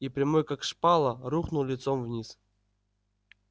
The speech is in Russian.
и прямой как шпала рухнул лицом вниз